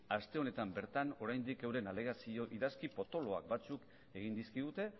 aste honetan bertan oraindik euren alegazioak idazki potoloak batzuk egin dizkigute